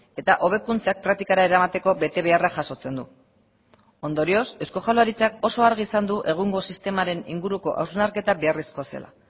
eta hobekuntzak praktikara eramateko betebeharra jasotzen du ondorioz eusko jaurlaritzak oso argi izan du egungo sistemaren inguruko hausnarketa beharrezkoa zela